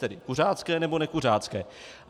Tedy kuřácké nebo nekuřácké.